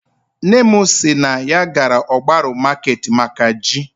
Nne m si na ya gara ogbaru market maka ji